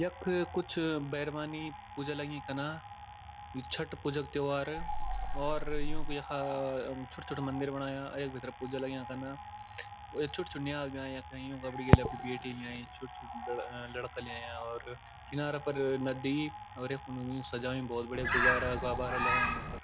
यख कुछ बैर्मानी पूजा लगीं कन्ना यु छट पूजा कु त्यौहार और युंक यखा छुट-छूटा मंदिर बणाया यख भीतर पूजा लग्यां करना यख छुट-छुट नियाल भी अयां यख अपड गेल अपड़ी बेटी भी लयीं छुट-छुट लड़ लड़का लयां और किनारा पर नदी और यख फण्ड सजायुं बहौत बढ़िया गुब्बारा-गब्बारा लगायाँ यूँ फर।